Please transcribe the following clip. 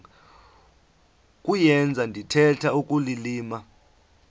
kuyenza ndithetha ukulilima